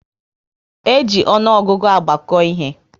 E ji ọnụọgụgụ agbako ihe